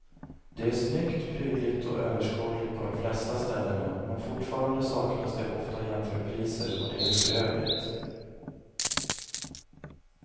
Det är snyggt, prydligt och överskådligt på de flesta ställena men fortfarande saknas det ofta jämförpriser och det är bedrövligt.